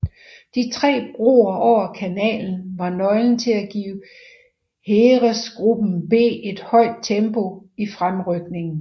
De tre broer over kanalen var nøglen til at give Heeresgruppe B et højt tempo i fremrykningen